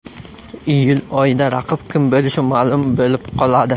Iyul oyida raqib kim bo‘lishi ma’lum bo‘lib qoladi.